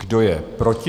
Kdo je proti?